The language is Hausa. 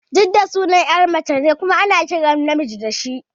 Jidda sunan ƴa mace ce kuma ana kiran namiji da shi